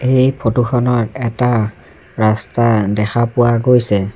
এই ফটো খনত এটা ৰাস্তা দেখা পোৱা গৈছে।